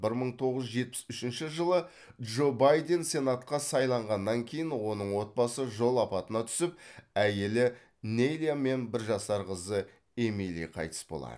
бір мың тоғыз жүз жетпіс үшінші жылы джо байден сенатқа сайланғаннан кейін оның отбасы жол апатына түсіп әйелі нейлия мен бір жасар қызы эмили қайтыс болады